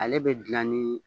Ale bɛ dilan ni